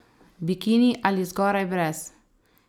Bikini ali zgoraj brez?